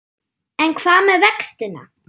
En hvað með vextina?